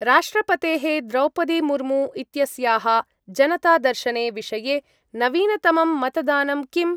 राष्ट्रपतेः द्रौपदी मुर्मू इत्यस्याः जनतादर्शने विषये नवीनतमं मतदानं किम्?